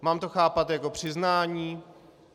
Mám to chápat jako přiznání?